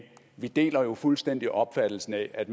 vi deler jo fuldstændig opfattelsen af at